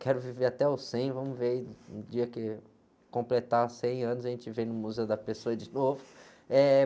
Quero viver até os cem, vamos ver, o dia que completar cem anos, a gente vem no Museu da Pessoa de novo.